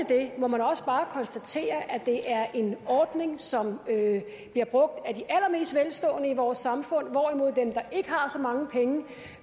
det må man også bare konstatere at det er en ordning som bliver brugt af de allermest velstående i vores samfund hvorimod dem der ikke har så mange penge